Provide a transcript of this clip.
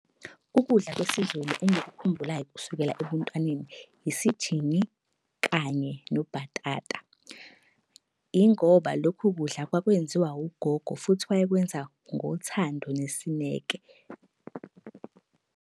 Ukudla kwesiZulu engikukhumbulayo kusukela ebuntwaneni isijingi, kanye nobhatata. Yingoba lokho kudla kwakwenziwa ugogo futhi wayekwenza ngothando nesineke.